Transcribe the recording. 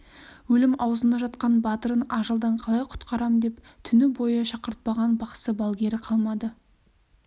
өлім аузында жатқан батырын ажалдан қалай құтқарам деп түні бойы шақыртпаған бақсы-балгері қалмады